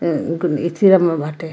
ऐं ऐथी र में बाटे।